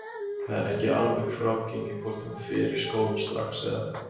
Það er ekki alveg frágengið hvort hún fer í skólann strax eða.